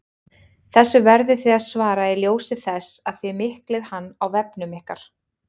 Þessu verðið þið að svara í ljósi þess að þið miklið hann á vefnum ykkar!